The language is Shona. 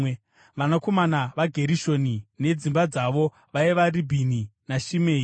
Vanakomana vaGerishoni, nedzimba dzavo, vaiva Ribhini naShimei.